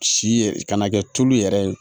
Si yɛrɛ kana kɛ tulu yɛrɛ ye